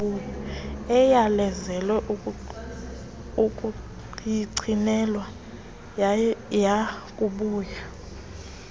eyalezele ukuyigcinelwa yakubuya